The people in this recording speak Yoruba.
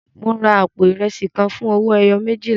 Mo ra àpò ìrẹsì kan fún owó ẹyọ méjìlá.